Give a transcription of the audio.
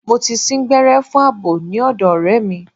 Mo ti sín gbẹ́rẹ́ fún àbò ní ọ̀dọ̀ ọ̀rẹ́ mi.